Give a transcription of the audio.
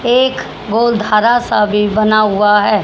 एक गोलधारा सा भी बना हुआ है।